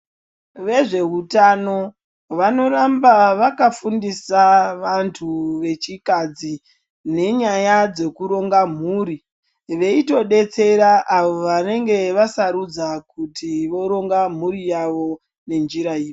Vezvehutano, vanoramba vakafundisa vantu vechikadzi nenyaya dzekuronga mhuri. Veyitodetsera avo vanenge vasarudza kuti voronga mhuri yavo nenjira iyi.